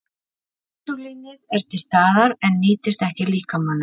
Insúlínið er til staðar en nýtist ekki líkamanum.